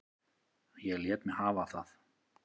Ég lét mig hafa það.